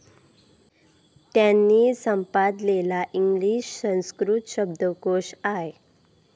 त्यांनी संपादलेला इंग्लिश संस्कृत शब्दकोश आय.